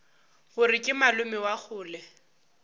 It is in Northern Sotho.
gore ke malome wa kgole